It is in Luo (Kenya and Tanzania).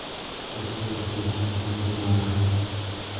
Ote mondo ochopi ne famili mara.